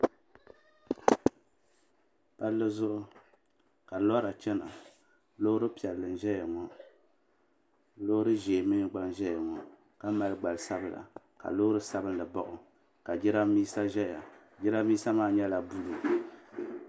Palli zuɣu ka lora chana loori piɛlli n ʒɛya ŋɔ loori ʒee mee gba n ʒɛya ŋɔ ka mali gbili sabla ka loori sabinli baɣi o ka jirambisa ʒɛya jirambisa maa nyɛla buluu.